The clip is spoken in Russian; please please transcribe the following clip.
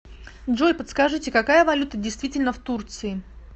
джой подскажите какая валюта действительна в турции